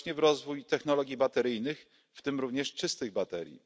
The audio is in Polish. właśnie w rozwój technologii bateryjnych, w tym również czystych baterii.